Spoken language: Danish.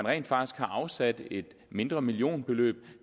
rent faktisk er afsat et mindre millionbeløb